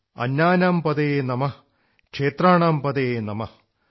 അന്നാനാം പതയേ നമഃ ക്ഷേത്രാണാം പതയേ നമഃ